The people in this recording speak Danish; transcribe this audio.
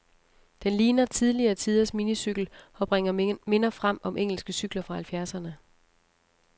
Den ligner tidligere tiders minicykel, og bringer minder frem om engelske cykler fra halvfjerdserne.